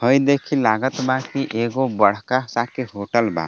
हई देखी लागत बा की एगो बड़का सा के होटल बा।